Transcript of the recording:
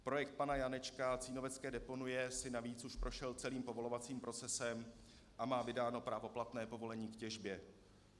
Projekt pana Janečka Cínovecké deponie si navíc už prošel celým povolovacím procesem a má vydáno právoplatné povolení k těžbě.